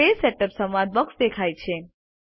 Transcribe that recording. page setup સંવાદ box દેખાય છે